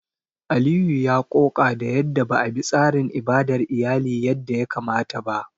Aliyu ya ƙoƙa da yadda ba a bi tsarin ibadar iyali yadda ya kamata ba.